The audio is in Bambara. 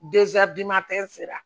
sera